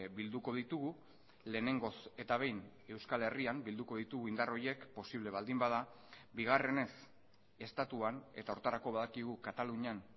bilduko ditugu lehenengoz eta behin euskal herrian bilduko ditugu indar horiek posible baldin bada bigarrenez estatuan eta horretarako badakigu katalunian